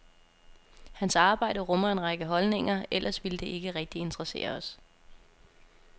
Hans arbejde rummer en række holdninger, ellers ville det ikke rigtig interessere os.